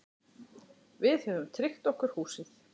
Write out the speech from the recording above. Við höfum tryggt okkur húsið.